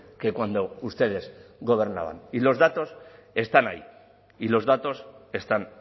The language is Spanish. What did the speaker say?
que cuando ustedes gobernaban y los datos están ahí y los datos están